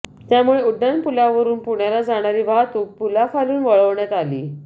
त्यामुळे उड्डाण पुलावरून पुण्याला जाणारी वाहतूक पुलाखालून वळवण्यात आली